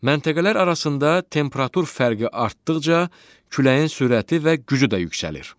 Məntəqələr arasında temperatur fərqi artdıqca küləyin sürəti və gücü də yüksəlir.